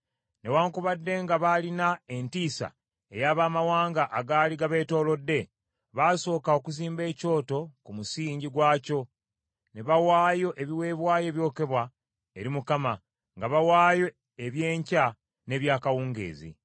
Newaakubadde nga baalina entiisa ey’abamawanga agaali gabeetoolodde, basooka okuzimba ekyoto ku musingi gwakyo ne bawaayo ebiweebwayo ebyokebwa eri Mukama , nga bawaayo eby’enkya n’eby’akawungeezi.